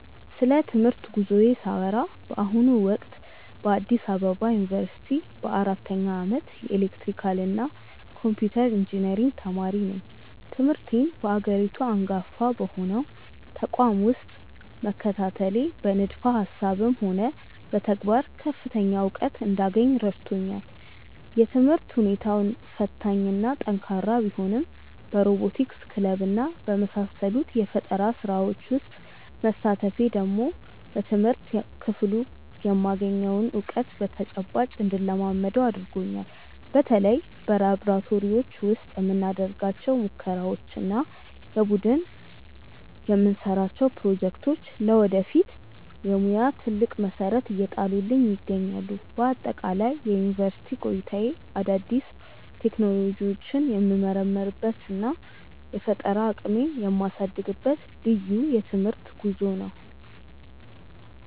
ስለ ትምህርት ጉዞዬ ሳወራ በአሁኑ ወቅት በአዲስ አበባ ዩኒቨርሲቲ በአራተኛ ዓመት የኤሌክትሪካልና ኮምፒውተር ኢንጂነሪንግ ተማሪ ነኝ። ትምህርቴን በሀገሪቱ አንጋፋ በሆነው ተቋም ውስጥ መከታተሌ በንድፈ ሃሳብም ሆነ በተግባር ከፍተኛ እውቀት እንዳገኝ ረድቶኛል። የትምህርት ሁኔታው ፈታኝና ጠንካራ ቢሆንም በሮቦቲክስ ክለብና በመሳሰሉት የፈጠራ ስራዎች ውስጥ መሳተፌ ደግሞ በትምህርት ክፍሉ የማገኘውን እውቀት በተጨባጭ እንድለማመደው አድርጎኛል። በተለይ በላብራቶሪዎች ውስጥ የምናደርጋቸው ሙከራዎችና የቡድን የምንሰራቸው ፕሮጀክቶች ለወደፊት የሙያ ትልቅ መሰረት እየጣሉልኝ ይገኛሉ። በአጠቃላይ የዩኒቨርሲቲ ቆይታዬ አዳዲስ ቴክኖሎጂዎችን የምመረምርበትና የፈጠራ አቅሜን የማሳድግበት ልዩ የትምህርት ጉዞ ነው።